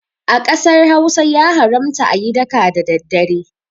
A ƙasar Hausa ya haramta ayi daka da daddare